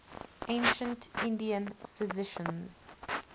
ancient indian physicians